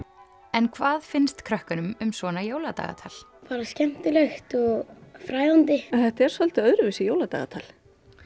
en hvað finnst krökkunum um svona jóladagatal bara skemmtilegt og fræðandi en þetta er svolítið öðruvísi jóladagatal